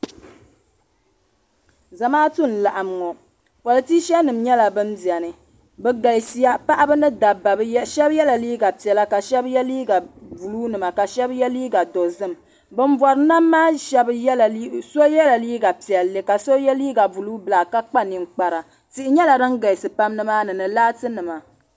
Zamaatu n-laɣim ŋɔ politisanima nyɛla ban beni bɛ galisiya paɣiba ni dabba shɛba yela liiga piɛla ka shɛba ye liiga sabila ka shɛba ye liiga dozim ban bɔri nam maa so yela liiga piɛlli ka so ye liiga buluu bilaaki ka kpa ninkpara tihi nyɛla sin galisi nimaani ni laatinima.